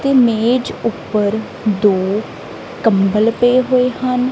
ਤੇ ਮੇਜ ਊਪਰ ਦੋ ਕੰਬਲ ਪਏ ਹੋਏ ਹਨ।